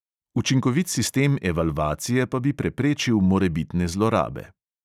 Učinkovit sistem evalvacije pa bi preprečil morebitne zlorabe.